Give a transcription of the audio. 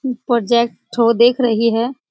मम प्रोजेक्ट ठो देख रही है।